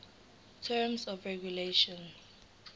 terms of regulation